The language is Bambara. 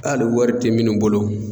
Hali wari tɛ minnu bolo